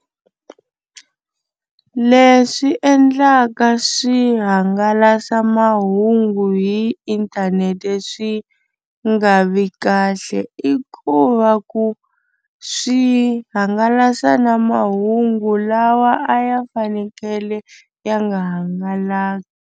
Leswi endlaka swihangalasamahungu hi inthanete swi nga vi kahle i ku va ku swi hangalasa na mahungu lawa a ya fanekele ya nga hangalaki.